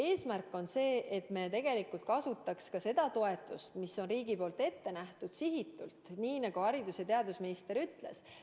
Eesmärk on see, et me kasutaks ka seda toetust, mis on riigi poolt ette nähtud, sihitult, nii nagu haridus- ja teadusminister ütles.